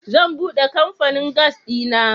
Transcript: Zan bude kamfanin gas dina.